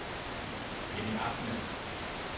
Jenny Ahmed